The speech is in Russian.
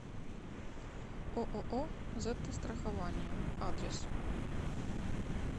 ооо зетта страхование адрес